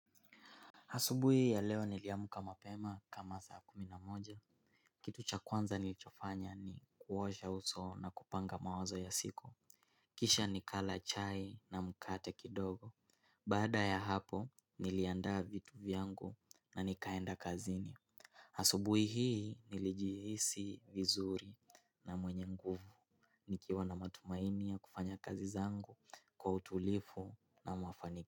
Hasubuhi ya leo niliamuka mapema kama saa kumi na moja. Kitu cha kwanza nilichofanya ni kuwosha uso na kupanga mawazo ya siku. Kisha nikala chai na mukate kidogo. Bada ya hapo niliandaa vitu vyangu na nikaenda kazini. Hasubuhi hii nilijihisi vizuri na mwenye nguvu. Nikiwa na matumaini ya kufanya kazi zangu kwa utulifu na mafaniki.